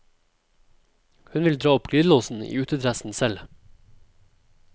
Hun vil dra opp glidelåsen i utedressen selv.